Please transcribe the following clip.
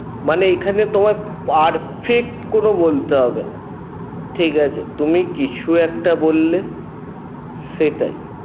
মানে এখানে তোমার perfect কোনো বলতে হবে না ঠিকাছে তুমি কিছু একটা বললে সেটাই